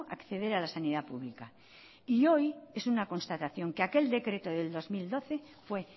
acceder a la sanidad pública y hoy es una constatación que aquel decreto de dos mil doce fue